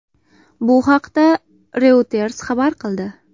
Bu haqda Reuters xabar qildi .